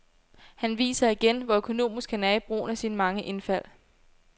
Han viser igen, hvor økonomisk han er i brugen af sine mange indfald.